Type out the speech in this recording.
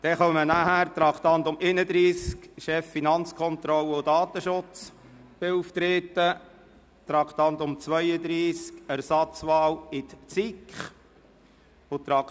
Darauf folgen Traktandum 116, Vorsteher der Finanzkontrolle, und Traktandum 121 Datenschutzbeauftragter, Traktandum 30 Ersatzwahl in die SiK;